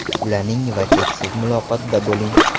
Ulaning va cheksiz muloqotda bo‘ling!